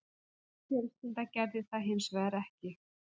Mín fjölskylda gerði það hins vegar ekki